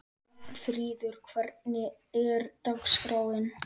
Ragnfríður, hvernig er dagskráin?